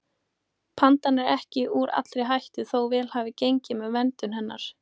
Pandan er ekki úr allri hættu þó vel hafi gengið með verndun hennar.